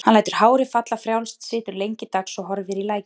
Hann lætur hárið falla frjálst, situr lengi dags og horfir í lækinn.